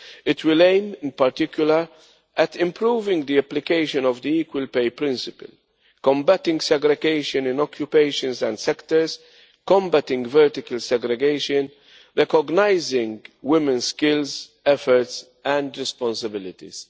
It will aim, in particular, at improving the application of the equal pay principle, combating segregation in occupations and sectors, combating vertical segregation, and recognising women's skills, efforts and responsibilities.